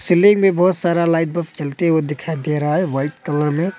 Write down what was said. चेल्लई में बहुत सारा लाइट बफ़ जलते हुए दिखाई दे रहा है वाइट कलर में।